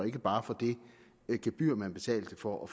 ikke bare for det gebyr man betalte for at